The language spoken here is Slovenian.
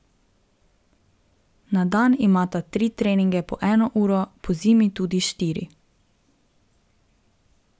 Na dan imata tri treninge po eno uro, pozimi tudi štiri.